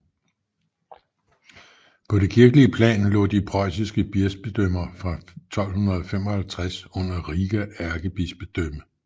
På det kirkelige plan lå de preussiske bispedømmer fra 1255 under Riga ærkebispedømme